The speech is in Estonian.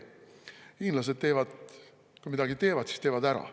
Kui hiinlased midagi teevad, siis nad teevad ära.